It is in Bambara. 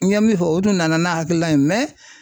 N ye min fɔ o tun nana n'a hakilina ye